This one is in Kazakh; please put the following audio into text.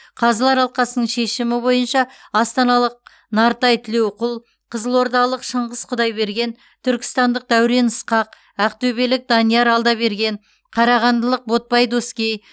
қазылар алқасының шешімі бойынша астаналық нартай тілеуқұл қызылордалық шыңғыс құдайберген түркістандық дәурен ысқақ ақтөбелік данияр алдаберген қарағандылық ботпай доскей